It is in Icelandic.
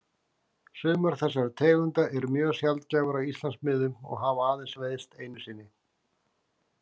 Sumar þessara tegunda eru mjög sjaldgæfar á Íslandsmiðum og hafa aðeins veiðst einu sinni.